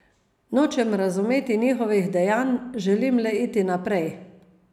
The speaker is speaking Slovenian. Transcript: Nočem razumeti njegovih dejanj, želim le iti naprej.